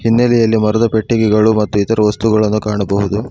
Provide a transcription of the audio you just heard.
ಹಿನ್ನಲೆಯಲ್ಲಿ ಮರದ ಪೆಟ್ಟಿಗೆಗಳು ಮತ್ತು ಇತರ ವಸ್ತುಗಳನ್ನು ಕಾಣಬಹುದು.